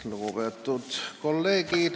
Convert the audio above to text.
Lugupeetud kolleegid!